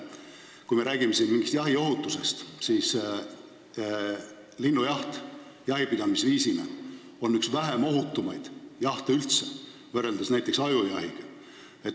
Kui me räägime siin jahi ohutusest, siis linnujaht on üldse üks ohutumaid jahipidamise viise, võrreldes näiteks ajujahiga.